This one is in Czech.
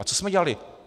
A co jsme dělali?